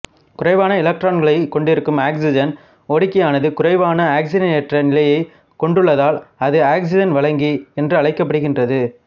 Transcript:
குறைவான எலக்ட்ரான்களைக் கொண்டிருக்கும் ஆக்சிஜன் ஒடுக்கியானது குறைவான ஆக்சிஜனேற்ற நிலையைக் கொண்டுள்ளதால் அது ஆக்சிஜன் வழங்கி என்று அழைக்கப்படுகிறது